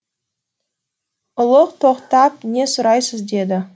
ұлық тоқтап не сұрайсыз деді